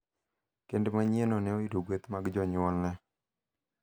Kend manyienno ne oyudo gueth mag jonyuolne.